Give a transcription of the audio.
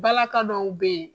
Bala ka dɔw bɛ yen.